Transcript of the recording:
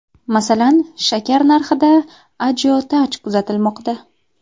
Masalan, shakar narxida ajiotaj kuzatilmoqda.